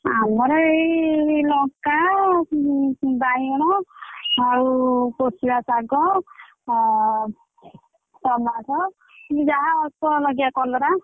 ଆମର ଏଇ ଲଙ୍କା ଉଁ ବାଇଗଣ ଆଉ କୋଶିଳା ଶାଗ ଏଁ tomato ଯାହା ଅଳ୍ପ ଲଗେଇଆ କଲରା।